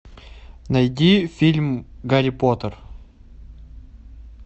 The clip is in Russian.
найди фильм гарри поттер